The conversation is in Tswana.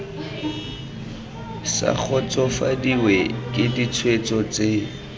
sa kgotsofadiwe ke ditshwetso tse